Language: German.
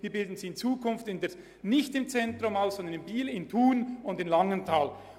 Deshalb würden wir sie in Zukunft nicht mehr im Zentrum ausbilden, sondern in Thun, Biel und Langenthal.